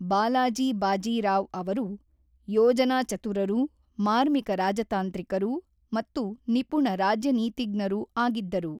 ಬಾಲಾಜಿ ಬಾಜೀರಾವ್ ಅವರು ಯೋಜನಾಚತುರರೂ, ಮಾರ್ಮಿಕ ರಾಜತಾಂತ್ರಿಕರೂ ಮತ್ತು ನಿಪುಣ ರಾಜ್ಯನೀತಿಜ್ಞರೂ ಆಗಿದ್ದರು.